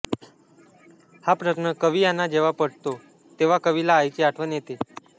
हा प्रश्न कवी यांना जेव्हा पडतो तेव्हा कवीला आईची आठवण येते